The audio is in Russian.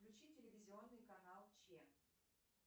включи телевизионный канал че